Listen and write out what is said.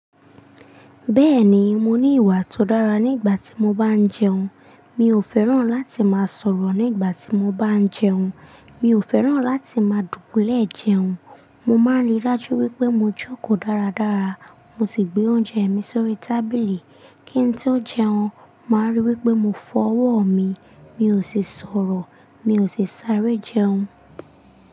Bẹ́ẹ̀ni, mo ní ìwà tó dára nígbà tí mo bá ń jẹun. Mi ò fẹ́ràn láti máa sọ̀rọ̀ nígbà tí mo bá ń jẹun. Mi ò fẹ́ràn láti máa dùbúlẹ́ẹ̀ jẹun. Mo máa ń ríi dájú wípé mo jókòó dáradára, mo sì gbé oúnjẹ mi sórí tábìlì kí ẹni tí ó ń jẹun máa ríi wípé mo fọ́wọ́ mi, mi ò ṣe sọ̀rọ̀, mi ò ṣi sáré jẹun.